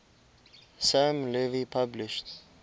sam levy published